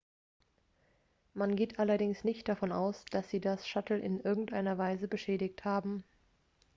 man geht allerdings nicht davon aus dass sie das shuttle in irgendeiner weise beschädigt haben